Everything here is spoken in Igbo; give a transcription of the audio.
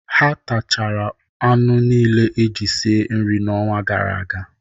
Ha tachara anụ nile eji sie nri n'ọnwa gara aga.